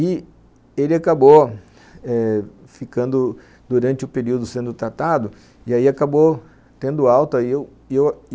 E ele acabou eh ficando, durante o período sendo tratado, e aí acabou tendo alta e eu, e eu...